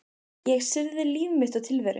Ég syrgði líf mitt og tilveru.